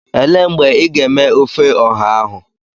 Elee mgbe ị ga-eme ofe ọha ahụ?